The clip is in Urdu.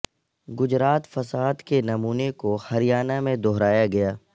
گجرات فساد کے نمونے کو ہریانہ میں دہرایا گیا